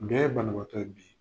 Bɛɛ ye banabaatɔ ye bi.